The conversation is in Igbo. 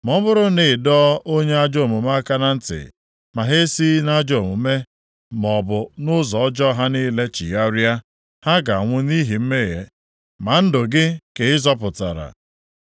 Ma ọ bụrụ na ị dọọ onye ajọ omume aka na ntị, ma ha esighị nʼajọ omume maọbụ nʼụzọ ọjọọ ha niile chigharịa, ha ga-anwụ nʼihi mmehie, ma ndụ gị ka ị zọpụtara.